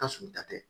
Ka surun ta tɛ